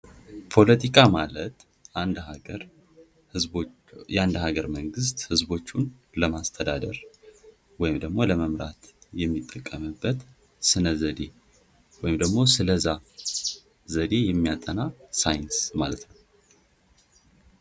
ፖለቲካ አንድ ሀገር ማለት ህዝቦች አንድ ሀገር መንግስት ህዝቦችን ለማስተዳደር ወይም ደግሞ ለመምራትየሚጠቀምበት ወይም ደግሞ ስለዚያ ዘዴ የሚያጠና ሳይንስ ማለት ነው።